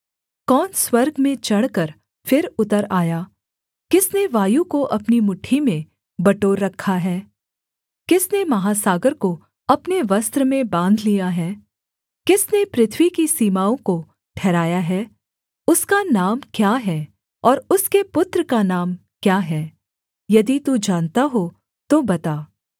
कौन स्वर्ग में चढ़कर फिर उतर आया किसने वायु को अपनी मुट्ठी में बटोर रखा है किसने महासागर को अपने वस्त्र में बाँध लिया है किसने पृथ्वी की सीमाओं को ठहराया है उसका नाम क्या है और उसके पुत्र का नाम क्या है यदि तू जानता हो तो बता